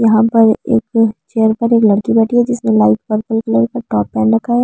यहां पर एक चेयर पर एक लड़की बैठी है जिसने लाइट पर्पल कलर का टॉप पहन रखा है।